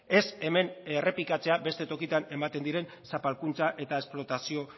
ez hemen errepikatzea beste tokitan ematen diren zapalkuntza eta esplotazio